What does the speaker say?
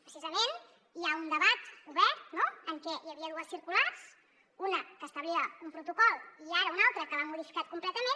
precisament hi ha un debat obert no en què hi havia dues circulars una que establia un protocol i ara una altra que l’ha modificat completament